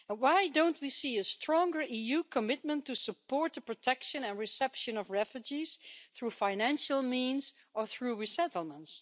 Why don't we see a stronger EU commitment to support the protection and reception of refugees through financial means or through resettlements?